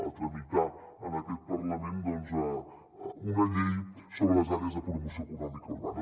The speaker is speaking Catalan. a tramitar en aquest parlament una llei sobre les àrees de promoció econòmica urbana